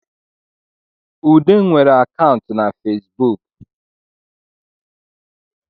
Ude nwere akantụ na Fesibuk